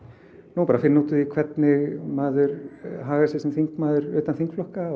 nú er bara að finna út úr því hvernig maður hagar sér sem þingmaður utan þingflokka